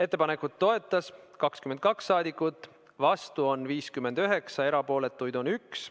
Ettepanekut toetas 22 rahvasaadikut, vastuolijaid oli 59 ja erapooletuid 1.